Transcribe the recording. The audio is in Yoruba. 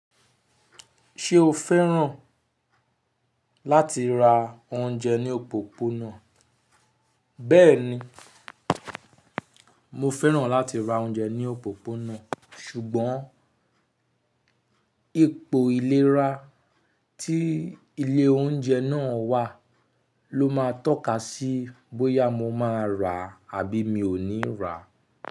Ṣé o fẹ́ràn láti ra oúnjẹ ní òpópónà? Bẹ́ẹ̀ni, mo fẹ́ràn láti ra oúnjẹ ní òpópónà, ṣùgbọ́n ipò ìlera tí ilé oúnjẹ náà wà ló máa tọ́ka sí bóyá mo máa rà àbí mi ò ní rà.